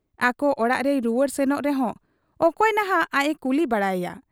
ᱟᱠᱚ ᱚᱲᱟᱜ ᱨᱮᱭ ᱨᱩᱣᱟᱹᱲ ᱥᱮᱱᱚᱜ ᱨᱮᱦᱚᱸ ᱚᱠᱚᱭ ᱱᱷᱟᱜ ᱟᱡ ᱮ ᱠᱩᱞᱤ ᱵᱟᱲᱟᱭᱮᱭᱟ ?